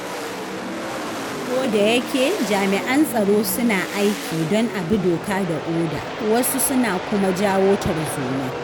Kodayake jami'an tsaro suna aiki don a bi doka da oda, wasu suna kuma jawo tarzoma.